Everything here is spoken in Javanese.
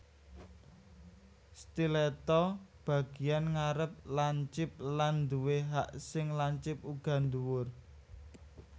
Stiletto Bagian ngarep lancip lan duwé hak sing lancip uga dhuwur